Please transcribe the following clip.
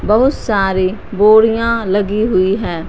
बहुत सारी बोरियां लगी हुई हैं।